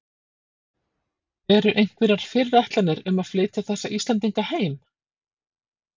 Eru einhverjar fyrirætlanir um að flytja þessa Íslendinga heim?